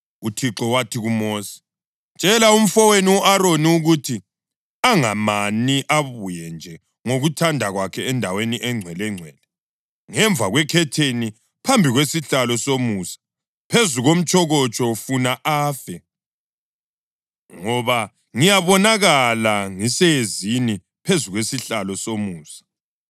UThixo wathi kuMosi, “Tshela umfowenu u-Aroni ukuthi angamani abuye nje ngokuthanda kwakhe endaweni eNgcwelengcwele, ngemva kwekhetheni, phambi kwesihlalo somusa phezu komtshokotsho funa afe, ngoba ngiyabonakala ngiseyezini phezu kwesihlalo somusa.